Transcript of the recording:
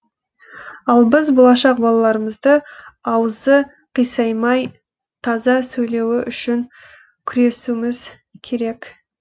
ал біз болашақ балаларымызды аузы қисаймай таза сөйлеуі үшін күресуіміз керек